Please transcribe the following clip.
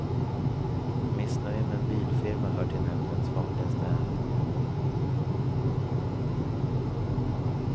Missnöje med en bilfirma hör till nämndens vanligaste ärenden.